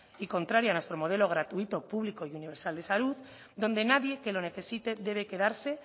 y contraria a nuestro modelo gratuito público y universal de salud donde nadie que lo necesite debe quedarse